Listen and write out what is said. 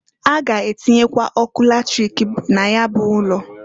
A ga-atinyekwa ọkụ latrik na ya bụ ụlọ.